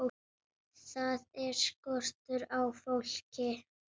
Þar er skortur á fólki.